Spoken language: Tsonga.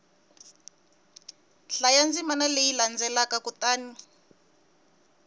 hlaya ndzimana leyi landzelaka kutani